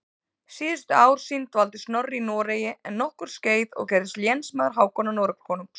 Síðustu ár sín dvaldi Snorri í Noregi um nokkurt skeið og gerðist lénsmaður Hákonar Noregskonungs.